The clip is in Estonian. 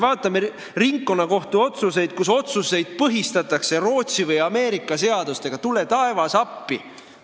Meil on ringkonnakohtu otsuseid, mida põhistatakse Rootsi või Ameerika seadustega – tule taevas appi!